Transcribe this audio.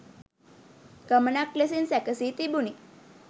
ගමනක් ලෙසින් සැකසී තිබුණි.